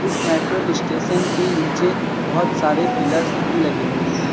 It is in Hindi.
इस मेट्रो स्टेशन के नीचे बहुत सारे पिलर्स भी लगे हुए हैं।